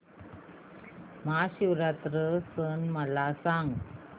महाशिवरात्री सण मला सांग